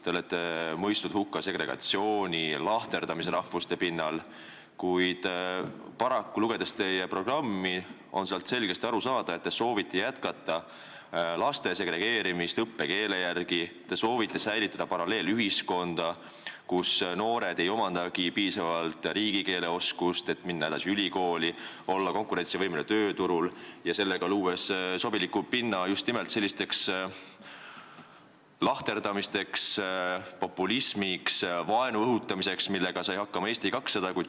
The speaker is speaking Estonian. Te olete mõistnud hukka segregatsiooni, lahterdamise rahvuste alusel, kuid paraku, lugedes teie programmi, on sealt selgesti aru saada, et te soovite jätkata laste segregeerimist õppekeele järgi, te soovite säilitada paralleelühiskonda, kus noored ei omandagi piisavalt riigikeelt, et minna edasi ülikooli ja olla konkurentsivõimelised tööturul, ning sellega te loote sobiliku pinna just nimelt selliseks lahterdamiseks, populismiks, vaenu õhutamiseks, millega sai hakkama Eesti 200.